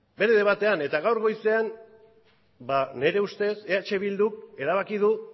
bere debatean eta gaur goizean nire ustez eh bilduk erabaki du